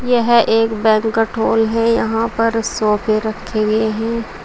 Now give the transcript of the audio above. यह एक banquet hall है यहां पर सोफे रखें गए हैं।